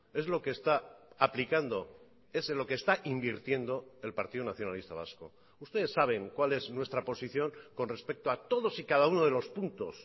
es lo que está aplicando es en lo que está invirtiendo el partido nacionalista vasco ustedes saben cuál es nuestra posición con respecto a todos y cada uno de los puntos